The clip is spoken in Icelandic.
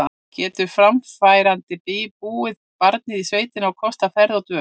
Getur framfærandi búið barnið í sveitina og kostað ferðir og dvöl?